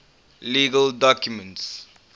legal documents